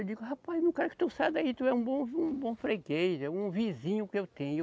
Eu digo, rapaz, não quero que tu saia daí, tu é um bom vi, um bom freguês, é um vizinho que eu tenho.